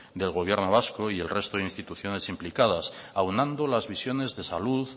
del gobierno vasco y el resto de instituciones implicadas aunando las visiones de salud